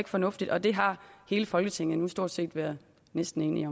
fornuftigt og det har hele folketinget nu stort set været næsten enige